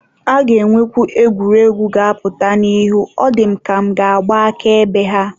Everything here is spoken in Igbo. A ga-enwekwu egwuregwu ga-apụta n'ihu, ọ dị m ka m ga-agba akaebe ha.